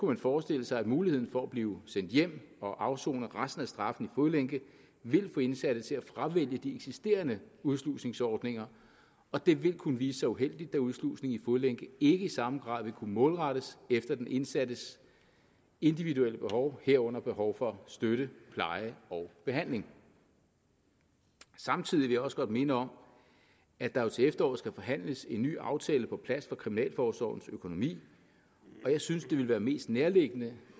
man forestille sig at muligheden for at blive sendt hjem og afsone resten af straffen i fodlænke ville få indsatte til at fravælge de eksisterende udslusningsordninger og det ville kunne vise sig uheldigt da udslusning i fodlænke i samme grad vil kunne målrettes de indsattes individuelle behov herunder behov for støtte pleje og behandling samtidig også godt minde om at der jo til efteråret skal forhandles en ny aftale på plads for kriminalforsorgens økonomi og jeg synes det vil være mest nærliggende